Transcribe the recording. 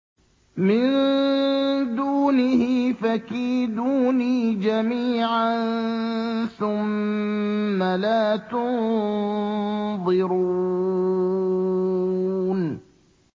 مِن دُونِهِ ۖ فَكِيدُونِي جَمِيعًا ثُمَّ لَا تُنظِرُونِ